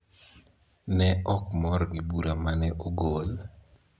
ne ok mor gi bura ma ne ogol,